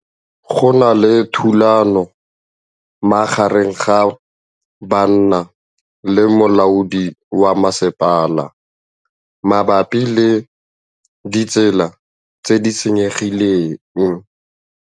Go na le thulanô magareng ga banna le molaodi wa masepala mabapi le ditsela tse di senyegileng.